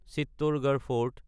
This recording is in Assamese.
চিত্তৰগড় ফৰ্ট